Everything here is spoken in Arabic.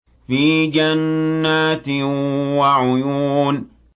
فِي جَنَّاتٍ وَعُيُونٍ